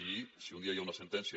i si un dia hi ha una sentència